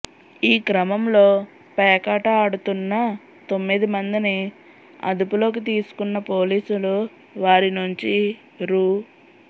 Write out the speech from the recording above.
ఈ క్రమంలో పేకాట ఆడుతున్న తొమ్మిది మందిని అదుపులోకి తీసుకున్న పోలీసులు వారి నుంచి రూ